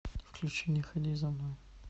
включи не ходи за мной